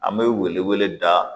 An bɛ wele wele da